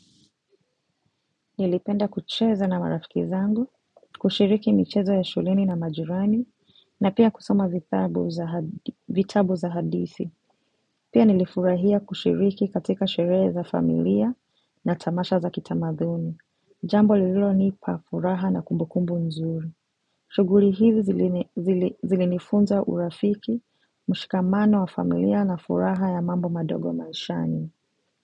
Nilipenda kucheza na marafiki zangu, kushiriki michezo ya shuleni na majirani, na pia kusoma vitabu za hadithi. Pia nilifurahia kushiriki katika sherehe za familia na tamasha za kitamaduni. Jambo lililonipa furaha na kumbukumbu nzuri. Shughuli hizi zilinifunza urafiki, mshikamano wa familia na furaha ya mambo madogo maishani.